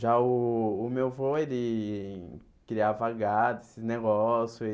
Já o o meu avô, ele criava gado esse negócio.